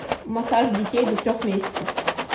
массаж детей до трех месяцев